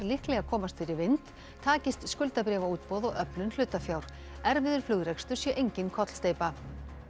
líklega komast fyrir vind takist skuldabréfaútboð og öflun hlutafjár erfiður flugrekstur sé engin kollsteypa